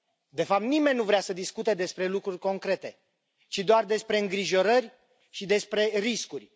De fapt, nimeni nu vrea să discute despre lucruri concrete, ci doar despre îngrijorări și despre riscuri.